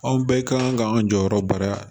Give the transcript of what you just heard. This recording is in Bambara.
Anw bɛɛ kan k'an jɔyɔrɔ bara yan